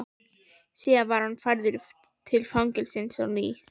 Síðan var hann færður til fangelsisins á ný.